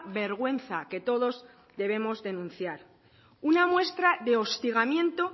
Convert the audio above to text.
vergüenza que todos debemos denunciar una muestra de hostigamiento